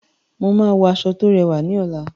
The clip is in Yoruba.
Mo máa wọ aṣọ tó rẹwà ní ọ̀la.